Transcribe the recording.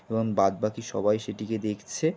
এবং বাদ বাকি সবাই সেটিকে দেখছে।